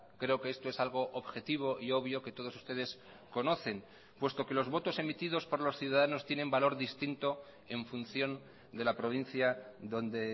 creo que esto es algo objetivo y obvio que todos ustedes conocen puesto que los votos emitidos por los ciudadanos tienen valor distinto en función de la provincia donde